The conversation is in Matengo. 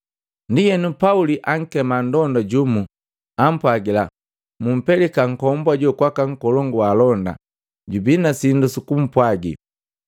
Ndienu Pauli akema nndonda jumu, ampwagila, “Mumpelika nkombu ajo kwaka nkolongu waalonda, jubi na sindu sukumpwagi.”